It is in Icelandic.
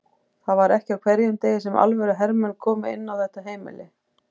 Það var ekki á hverjum degi sem alvöru hermenn komu inn á þetta heimili.